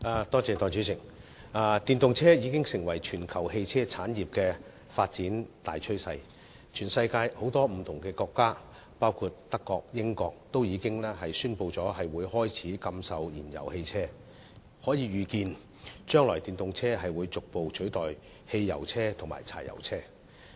代理主席，電動車已經成為全球汽車產業的發展大趨勢，全世界很多國家，包括德國和英國均已宣布開始禁售燃油汽車，可以預見電動車將來會逐步取代汽油車和柴油車。